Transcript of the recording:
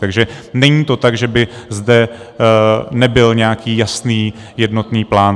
Takže není to tak, že by zde nebyl nějaký jasný jednotný plán.